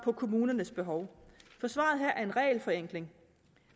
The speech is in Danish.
kommunernes behov for svaret her er en regelforenkling